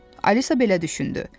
Alisa belə düşündü.